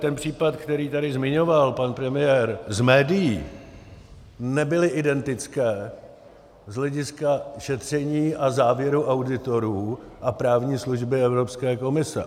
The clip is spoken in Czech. Ten případ, který tady zmiňoval pan premiér z médií, nebyl identický z hlediska šetření a závěru auditorů a právní služby Evropské komise.